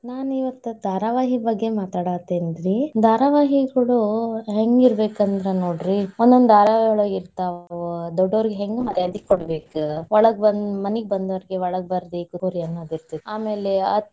ನಾನಿವತ್ ಧಾರಾವಾಹಿ ಬಗ್ಗೆ ಮಾತಾಡಾತೇನ್ರಿ. ಧಾರಾವಾಹಿಗಳು ಹೆಂಗಿರಬೇಕಂದ್ರ ನೋಡ್ರಿ, ಒಂದೊಂದ್ ಧಾರಾವಾಯೊಳಗ ಇರ್ತಾವು, ದೊಡ್ಡೊರ್ಗೆ ಹೆಂಗ್ ಮರ್ಯಾದೆ ಕೊಡಬೇಕ, ಒಳ್ಗ ಬಂದ್, ಮನಿಗೆ ಬಂದೋರ್ಗೆ ಒಳಗ್ ಬರ್ರಿ ಕೂಡ್ರಿ ಅನ್ನುದಿರ್ತೇತಿ, ಆಮೇಲೆ.